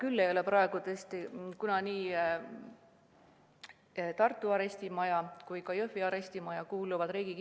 Samas ei ole praegu tõesti teada, kas Riigi Kinnisvara Aktsiaselts müüb Tartu arestimaja maha või mitte.